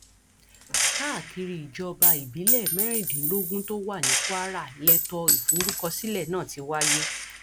káàkiri ìjọba ìbílẹ mẹrìndínlógún tó wà ní kwara lẹtọ ìforúkọsílẹ náà ti wáyé